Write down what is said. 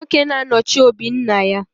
Nwoke na-anọchi òbí nna ya.